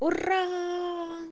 ура